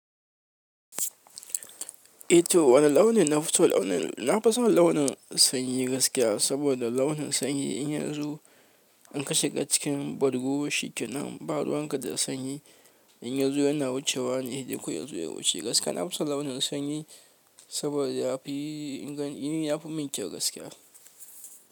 Eh to wane launin nafi so launin, nafason launin sanyi gaskiya saboda launin sanyi in yanzu in kashe ga cikin bargo shi kenan, ba ruwan ka da sanyi in yazo yana wucewa ne dai koyaushe ya wuce gaskiya nafison launin sanyi saboda yafi ingani yafi min kyau gaskiya.